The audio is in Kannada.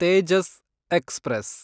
ತೇಜಸ್ ಎಕ್ಸ್‌ಪ್ರೆಸ್